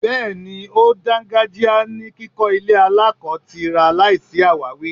Bẹẹni, ó dàngájíá ní kíkọ ilé aláko-tira láìsí awawi.